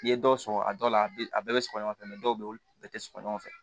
I ye dɔw sɔrɔ a dɔw la a bɛ a bɛɛ bɛ sɔgɔ ɲɔgɔn fɛ dɔw bɛ yen olu bɛɛ tɛ sɔrɔ ɲɔgɔn fɛ